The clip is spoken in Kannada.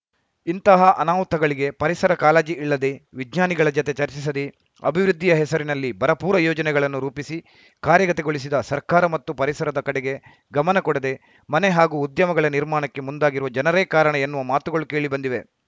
ಇಂತಹ ಅನಾಹುತಗಳಿಗೆ ಪರಿಸರ ಕಾಳಜಿ ಇಲ್ಲದೆ ವಿಜ್ಞಾನಿಗಳ ಜತೆ ಚರ್ಚಿಸದೆ ಅಭಿವೃದ್ಧಿಯ ಹೆಸರಿನಲ್ಲಿ ಭರಪೂರ ಯೋಜನೆಗಳನ್ನು ರೂಪಿಸಿ ಕಾರ್ಯಗತಗೊಳಿಸಿದ ಸರ್ಕಾರ ಮತ್ತು ಪರಿಸರದ ಕಡೆಗೆ ಗಮನ ಕೊಡದೆ ಮನೆ ಹಾಗೂ ಉದ್ಯಮಗಳ ನಿರ್ಮಾಣಕ್ಕೆ ಮುಂದಾಗಿರುವ ಜನರೇ ಕಾರಣ ಎನ್ನುವ ಮಾತುಗಳು ಕೇಳಿಬಂದಿವೆ